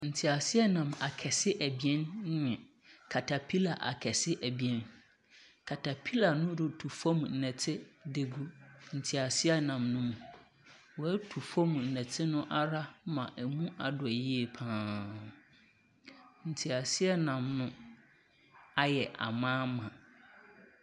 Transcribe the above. Teaseɛnam akɛse abien na katapila akɛse abien, katapila no retu fam dɛte dza agu teaseɛnam no mu. Wɔatu fam dɔte ma mu adɔ yiye pa ara. Teaseɛnam no ayɛ ama ama.